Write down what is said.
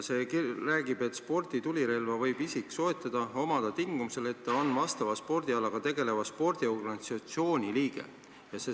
See sätestab: "Sporditulirelva võib isik soetada, omada ja vallata tingimusel, et ta on vastava spordialaga tegeleva spordiorganisatsiooni liige.